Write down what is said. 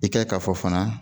I ka fɔ fana